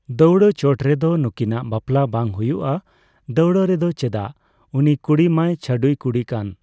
ᱫᱟᱹᱣᱲᱟᱹ ᱪᱚᱴ ᱨᱮᱫᱚ ᱱᱩᱠᱤᱱᱟᱜ ᱵᱟᱯᱞᱟ ᱵᱟᱝ ᱦᱩᱭᱩᱜᱼᱟ ᱾ ᱫᱟᱹᱣᱲᱟᱹ ᱨᱮᱫᱚ ᱾ ᱪᱮᱫᱟᱜ ᱩᱱᱤ ᱠᱩᱲᱤ ᱢᱟᱭ ᱪᱷᱟᱹᱰᱣᱭᱤ ᱠᱩᱲᱤ ᱠᱟᱱ ᱾